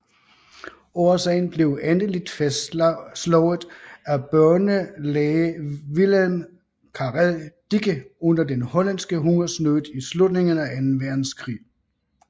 Årsagen blev endeligt fastslået af børnelæge Willem Karel Dicke under den hollandske hungersnød i slutningen af anden verdenskrig